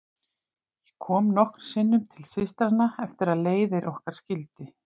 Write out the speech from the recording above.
Ég kom nokkrum sinnum til systranna eftir að leiðir okkar skildi.